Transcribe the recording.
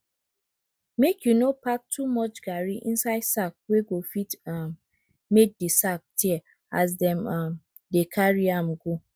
make you no pack too much garri inside sack wey go fit um make de sack tear as dem um dey carry am go